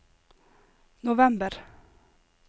november